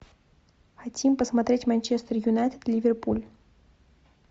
хотим посмотреть манчестер юнайтед ливерпуль